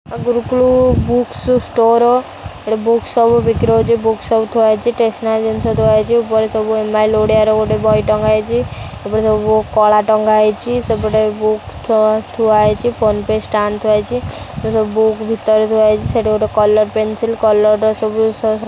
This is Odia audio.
ଗୁରୁକୁଳୁ ବୁକ ଷ୍ଟୋର ଏଠି ବୁକ୍ସ ସବୁ ବିକ୍ରି ହେଉଛି ବୁକ୍‌ ସବୁ ଥୁଆ ହେଇଛି ଟେସନାରୀ ଜିନିଷ ସବୁ ଥୁଆ ହେଇଛି ଉପରେ ସବୁ ଏମଆଇଏଲ ଓଡିଆର ଗୋଟେ ବହି ଟଙ୍ଗା ହେଇଛି ଏପଟେ ସବୁ କଳା ଟଙ୍ଗା ହେଇଛି ସେପଟେ ବୁକ୍‌ ଥୁଆ ଥୁଆହେଇଛି ଫୋନ ପେ ଷ୍ଟାଣ୍ଡ ଥୁଆ ହେଇଛି ସବୁ ବୁକ୍‌ ଭିତରେ ଥୁଆ ହେଇଛି ସେଠି ଗୋଟେ କଲର ପେନସିଲ କଲର୍‌ ର ସବୁ --